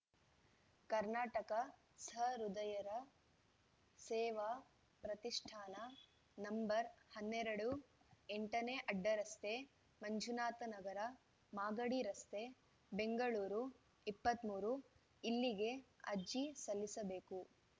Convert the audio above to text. ಕರ್ನಾಟಕ ಸಹೃದಯರ ಸೇವಾ ಪ್ರತಿಷ್ಟಾನ ನಂಬರ್ ಹನ್ನೆರಡು ಎಂಟನೇ ಅಡ್ಡರಸ್ತೆ ಮಂಜುನಾಥನಗರ ಮಾಗಡಿರಸ್ತೆ ಬೆಂಗಳೂರು ಇಪ್ಪತ್ತ್ ಮೂರು ಇಲ್ಲಿಗೆ ಅಜಿ ಸಲ್ಲಿಸಬೇಕು